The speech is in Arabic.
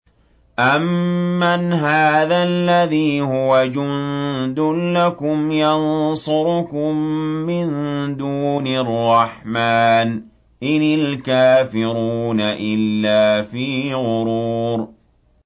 أَمَّنْ هَٰذَا الَّذِي هُوَ جُندٌ لَّكُمْ يَنصُرُكُم مِّن دُونِ الرَّحْمَٰنِ ۚ إِنِ الْكَافِرُونَ إِلَّا فِي غُرُورٍ